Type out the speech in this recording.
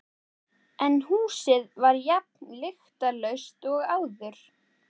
En húsið var jafn lyktarlaust og áður.